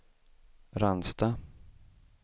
Ransta